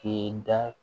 K'e da